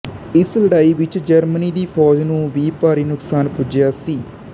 ਇਸ ਲੜਾਈ ਵਿੱਚ ਜਰਮਨੀ ਦੀ ਫ਼ੌਜ ਨੂੰ ਵੀ ਭਾਰੀ ਨੁਕਸਾਨ ਪੁੱਜਿਆ ਸੀ